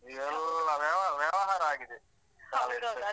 ಈಗೆಲ್ಲ ವ್ಯವಹಾರ ವ್ಯವಹಾರ ಆಗಿದೆ .